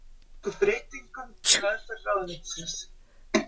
Þau tóku breytingum í meðferð ráðuneytisins